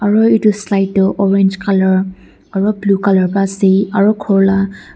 aro edu slide toh orange colour aro blue colour pra ase aro khor la--